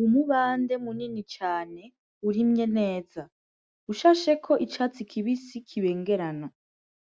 Umubande munini cane urimye neza, ushasheko icatsi kibisi kibengerana.